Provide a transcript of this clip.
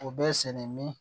U bɛ sɛnɛ min